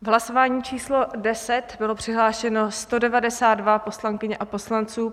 V hlasování číslo 10 bylo přihlášeno 192 poslankyň a poslanců.